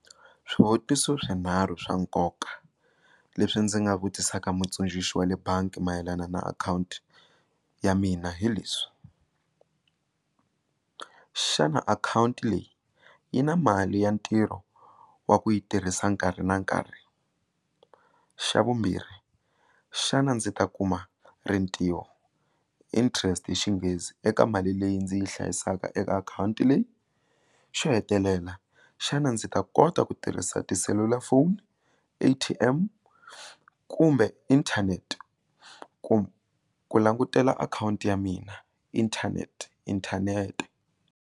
Swivutiso swinharhu swa nkoka leswi ndzi nga vutisaka mutsundzuxi wa le bangi mayelana na akhawunti ya mina hi leswi xana akhawunti leyi yi na mali ya ntirho wa ku yi tirhisa nkarhi na nkarhi xa vumbirhi xana ndzi ta kuma rintiho interest Xinghezi eka mali leyi ndzi yi hlayisaka eka akhawunti leyi xo hetelela xana ndzi ta kota ku tirhisa tiselulafoni A_T_M kumbe inthanete ku ku langutela akhawunti ya mina internet inthanete.